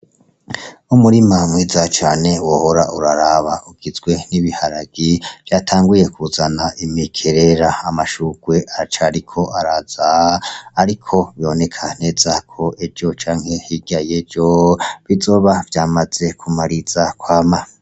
Umurima mwiza cane wohora uraraba ugizwe n'ibiharage vyatanguye kuzana imikerera, Amashurwe aracariko araza ariko biboneka neza ko ejo canke hirya yejo bizoba vyamaze kumariza kwama.